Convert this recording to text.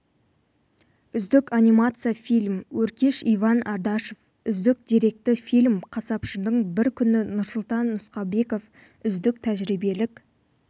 үздік анимациялық фильм өркеш иван ардашов үздік деректі фильм қасапшының бір күні нұрсұлтан нұсқабеков үздік тәжірибелік